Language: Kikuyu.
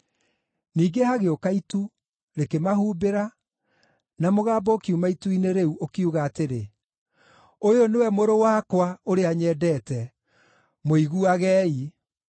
Ningĩ hagĩũka itu, rĩkĩmahumbĩra, na mũgambo ũkiuma itu-inĩ rĩu, ũkiuga atĩrĩ, “Ũyũ nĩwe Mũrũ wakwa, ũrĩa nyendete. Mũiguagei!”